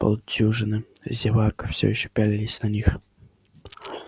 полдюжины зевак всё ещё пялились на них